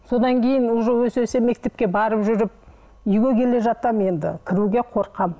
содан кейін уже өсе өсе мектепке барып жүріп үйге келе жатамын енді кіруге қорқамын